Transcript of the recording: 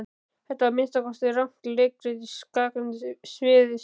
Þetta var að minnsta kosti rangt leikrit í skakkri sviðsmynd.